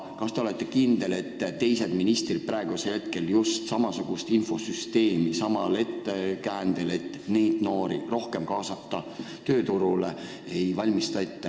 Kas te olete kindel, et teised ministrid ei valmista praegu ette samasugust infosüsteemi just samal ettekäändel, et rohkem noori tööturule kaasata?